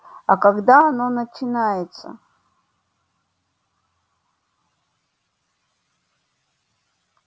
а когда оно начинается